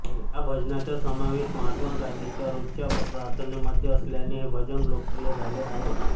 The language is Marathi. ह्या भजनाचा समावेश महात्मा गांधींच्या रोजच्या प्रार्थनेमध्ये असल्याने हे भजन लोकप्रिय झाले आहे